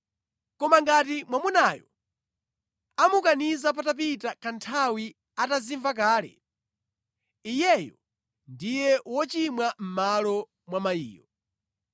Koma ngati mwamunayo amukaniza patapita kanthawi atazimva kale, iyeyo ndiye wochimwa mʼmalo mwa mayiyo.”